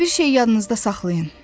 Amma bir şeyi yadınızda saxlayın.